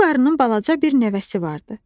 Bu qarının balaca bir nəvəsi vardı.